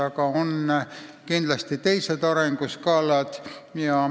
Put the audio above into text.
Aga on kindlasti ka teisi arenguskaalasid.